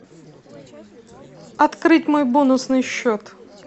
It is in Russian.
открыть мой бонусный счет